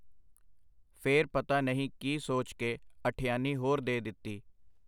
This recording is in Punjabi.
ਫੇਰ ਪਤਾ ਨਹੀਂ ਕੀ ਸੋਚ ਕੇ ਅਠਿਆਨੀ ਹੋਰ ਦੇ ਦਿੱਤੀ.